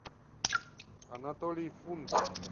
анатолий фунтов